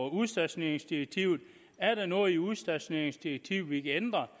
udstationeringsdirektivet er der noget i udstationeringsdirektivet vi kan ændre